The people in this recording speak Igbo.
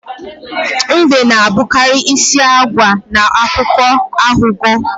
Mbe na-abụkarị isi agwa na akụkọ aghụghọ